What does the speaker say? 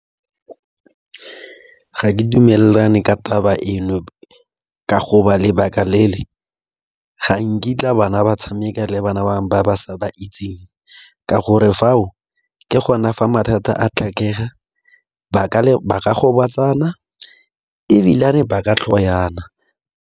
Ga ke dumelane ka taba e no ka go ba lebaka le le ga nkitla bana ba tshameka le bana bangwe ba ba sa ba itseng. Ka gore fao ke gona fa mathata a tlhakega ba ka gobatsana ebilane ba ka tlhoana.